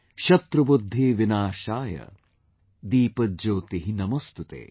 Shatrubudhdhi Vinashaay, Deepajyoti Namostute